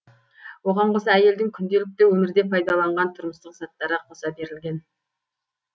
оған қоса әйелдің күнделікті өмірде пайдаланған тұрмыстық заттары қоса берілген